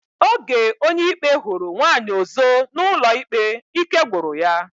Oge Onyeikpe huru nwaanyi ozo na ụlọikpe, ike gwuru ya.